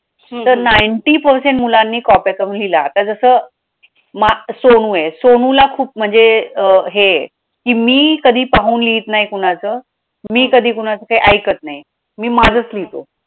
तर ninety percent मुलांनी copy करून लिहिलं आता जसं सोनू आहे, सोनूला खूप म्हणजे अं हे की मी कधी पाहून लिहीत नाही कुणाचं, मी कधी कोणाचं काय ऐकत नाही, मी माझंच लिहितो